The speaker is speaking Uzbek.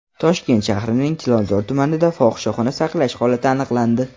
Toshkent shahrining Chilonzor tumanida fohishaxona saqlash holati aniqlandi.